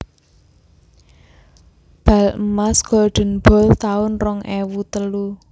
Bal emas Golden Ball taun rong ewu telu